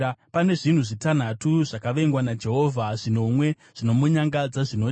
Pane zvinhu zvitanhatu zvakavengwa naJehovha, zvinomwe zvinomunyangadza zvinoti: